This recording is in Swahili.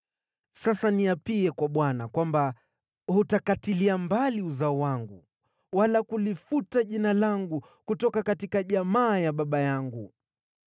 Sasa niapie kwa Bwana kwamba hutakatilia mbali uzao wangu wala kulifuta jina langu kutoka jamaa ya baba yangu.”